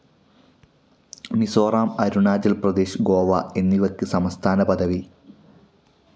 മിസോറാം, അരുണാചൽ പ്രദേശ്, ഗോവ എന്നിവയ്ക്ക് സംസ്ഥാനപദവി.